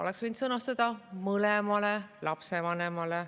Oleks võinud sõnastada "mõlemale lapsevanemale".